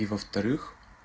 и во-вторых